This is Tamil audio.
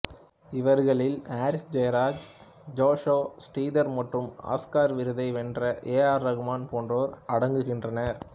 இவர்களில் ஹாரிஸ் ஜெயராஜ் ஜோஷ்ஷா ஸ்ரீதர் மற்றும் ஆஸ்கார் விருதை வென்ற ஏ ஆர் ரகுமான் போன்றோர் அடங்குகின்றனர்